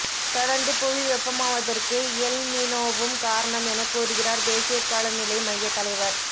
தொடர்ந்து புவி வெப்பமாவதற்கு எல் நினோவும் காரணம் எனக் கூறுகிறார் தேசிய காலநிலை மைய தலைவர்